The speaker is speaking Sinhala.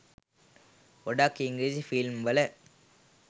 ගොඩක් ඉංග්‍රීසි ෆිල්ම් වල